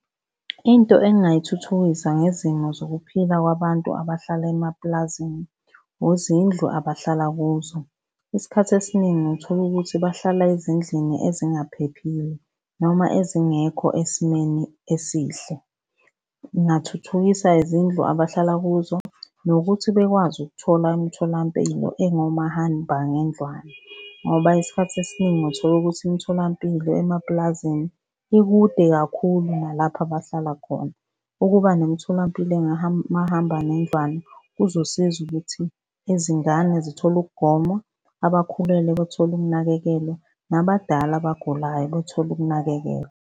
Into engingayithuthukisa ngezimo zokuphila kwabantu abahlala emapulazini, uzindlu abahlala kuzo. Isikhathi esiningi uthola ukuthi bahlala ezindlini ezingaphephile noma ezingekho esimeni esihle. Ngingathuthukisa izindlu abahlala kuzo nokuthi bekwazi ukuthola imtholampilo engomahambangendlwana, ngoba isikhathi esiningi uthola ukuthi imitholampilo emapulazini ikude kakhulu nalapho abahlala khona. Ukuba nomtholampilo mahambanendlwana kuzosiza ukuthi izingane zithole ukugonywa, abakhulelwe bethole ukunakekelwa, nabadala abagulayo bethole ukunakekelwa.